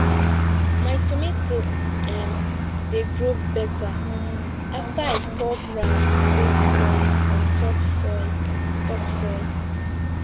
my tomato um dey grow better after i pour grass wey spoil on top soil top soil